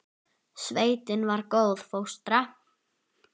Sveitin var góð fóstra.